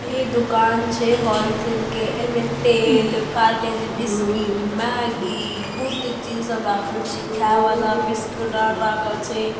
ई दुकान छै होलसेल के। ऐमे तेल पारलेजी बिस्किट मेगी बहुत चीज राखल छै। खाय वाला बिस्कुट और राखल छै।